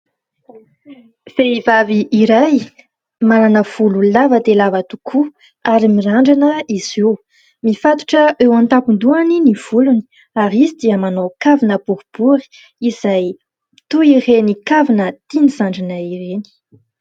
Vehivavy iray manana volo lava dia lava tokoa ary mirandrana izy io. Mifatotra eo an-tampon-dohany ny volony ary izy dia manao kavina boribory izay toy ireny kavina tiany zandrinay ireny.